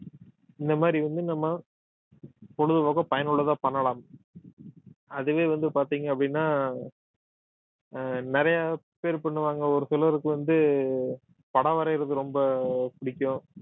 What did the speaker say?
இந்த மாதிரி வந்து நம்ம பொழுதுபோக்க பயனுள்ளதா பண்ணலாம் அதுவே வந்து பார்த்தீங்க அப்படின்னா ஆஹ் நிறைய பேர் பண்ணுவாங்க ஒரு சிலருக்கு வந்து படம் வரையிறது ரொம்ப பிடிக்கும்